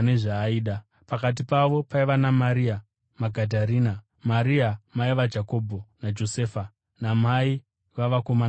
Pakati pavo paiva naMaria Magadharena, Maria mai vaJakobho naJosefa, namai vavanakomana vaZebhedhi.